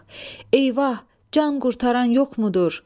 Eyvah, can qurtaran yoxmudur?